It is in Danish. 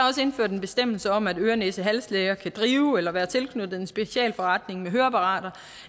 indført en bestemmelse om at øre næse hals læger kan drive eller være tilknyttet en specialforretning med høreapparater